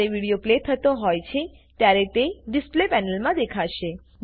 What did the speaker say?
જ્યારે video play થતો હોય છે ત્યારે તે ડિસ્પ્લે પેનલમાં દેખાશે